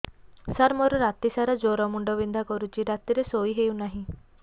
ସାର ମୋର ରାତି ସାରା ଜ୍ଵର ମୁଣ୍ଡ ବିନ୍ଧା କରୁଛି ରାତିରେ ଶୋଇ ହେଉ ନାହିଁ